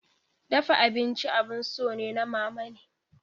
Dafa abinci abun so ne na mamane.